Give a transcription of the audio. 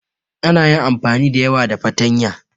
Ana yin amfani da yawa da fatanya.